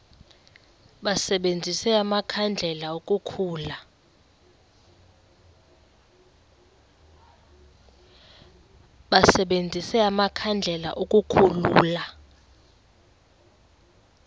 basebenzise amakhandlela ukukhulula